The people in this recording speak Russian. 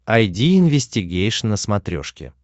айди инвестигейшн на смотрешке